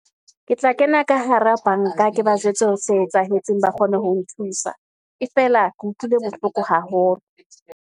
Ke tla kena ka hara banka, ke ba jwetse hore se etsahetseng ba kgone ho nthusa, e fela ke utlwile bohloko haholo.